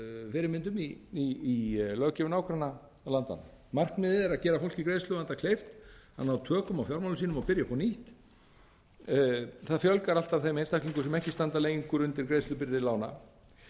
fyrirmyndum í löggjöf nágrannalandanna markmiðið er að gera fólki í greiðsluvanda kleift að ná tökum á fjármálum sínum og byrja upp á nýtt það fjölgar alltaf þeim einstaklingum sem ekki standa lengur undir greiðslubyrði lána